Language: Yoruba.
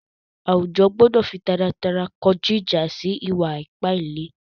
Àwújọ̀ gbọdọ̀ fí tàràtàrà kọjú ìjà̀ sí ìwà-ìpà ìlẹ̀.